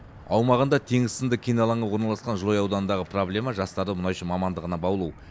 аумағында теңіз сынды кен алаңы орналасқан жылыой ауданындағы проблема жастарды мұнайшы мамандығына баулу